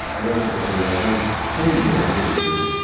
Əvvəlcə qadınlardan ən cavanı hönkürtü.